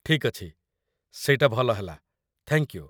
ଠିକ୍ ଅଛି, ସେଇଟା ଭଲ ହେଲା, ଥ୍ୟାଙ୍କ୍ ୟୁ!